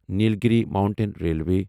Nilgiri mountain railway